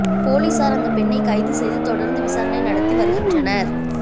போலீஸார் அந்தப் பெண்ணைக் கைது செய்து தொடர்ந்து விசாரணை நடத்தி வருகின்றனர்